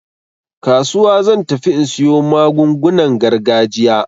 Kasuwa zan tafi in siyo magungunan gargajiya.